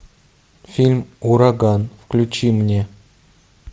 фильм ураган включи мне